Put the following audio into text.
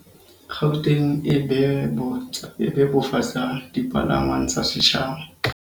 Gauteng e bebofatsa dipalangwang tsa setjhaba